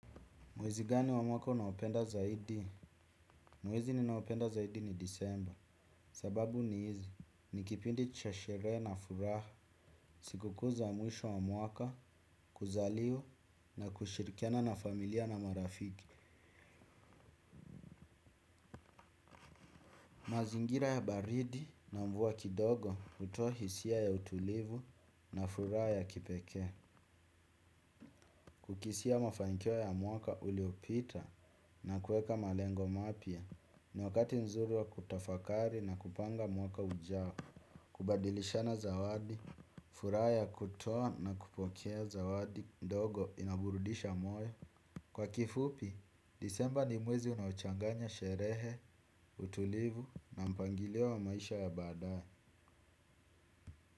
Mwezi gani wa mwaka unaopenda zaidi? Mwezi ninaopenda zaidi ni disemba. Sababu ni hizi. Nikipindi cha sherehe na furaha. Sikukuu za mwisho wa mwaka, kuzaliwa na kushirikiana na familia na marafiki. Mazingira ya baridi na mvua kidogo utoa hisia ya utulivu na furaha ya kipekee. Kukisia mafanikio ya mwaka uliopita na kuweka malengo mapya. Ni wakati mzuri wa kutafakari na kupanga mwaka ujao. Kubadilishana zawadi, furaha ya kutoa na kupokea zawadi ndogo inaburudisha moyo. Kwa kifupi, disemba ni mwezi unaochanganya sherehe, utulivu na mpangilio wa maisha ya badae.